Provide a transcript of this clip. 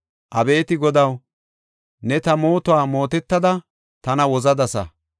Abeeti Godaw ne ta mootuwa mootetada tana wozadasa.